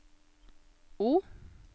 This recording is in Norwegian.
O